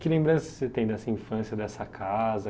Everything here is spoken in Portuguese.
Que lembrança você tem dessa infância, dessa casa?